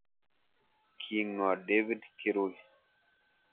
King'oo david kirui